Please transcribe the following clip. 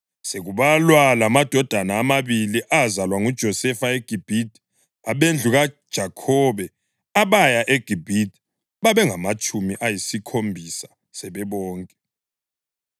Sekubalwa lamadodana amabili azalwa nguJosefa eGibhithe, abendlu kaJakhobe abaya eGibhithe babengamatshumi ayisikhombisa sebebonke.